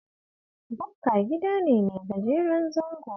Bukka gida ne mai gajeren zango